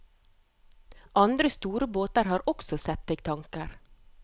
Andre store båter har også septiktanker.